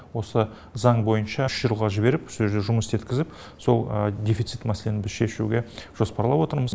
осы заң бойынша үш жылға жіберіп со ерде жұмыс істеткізіп сол дефицит мәселені біз шешуге жоспарлап отырмыз